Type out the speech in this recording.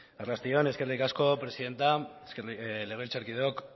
arrasti on eskerrik asko presidente legebiltzarkideok